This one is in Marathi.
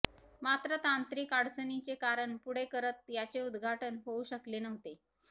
मात्र तांत्रिक अडचणीचे कारण पुढे करत याचे उद्घाटन होऊ शकले नव्हते